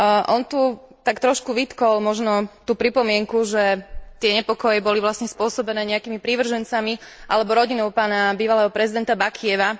On tu tak trošku vytkol možno tú pripomienku, že tie nepokoje boli vlastne spôsobené nejakými prívržencami alebo rodinou bývalého prezidenta Bakijeva.